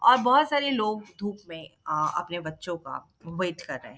और बहुत सारे लोग धुप में अ अपने बच्चो का वेट कर रहें हैं।